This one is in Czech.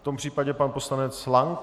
V tom případě pan poslanec Lank.